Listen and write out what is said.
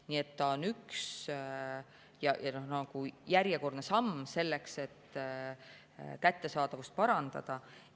Nii et see on üks ja järjekordne samm selleks, et kättesaadavust parandada.